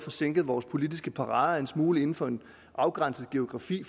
sænket vores politiske parader en smule inden for en afgrænset geografi